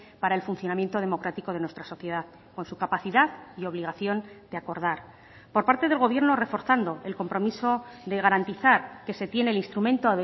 para el funcionamiento democrático de nuestra sociedad con su capacidad y obligación de acordar por parte del gobierno reforzando el compromiso de garantizar que se tiene el instrumento